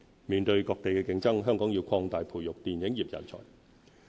面對各地的競爭，香港要擴大培育電影業人才。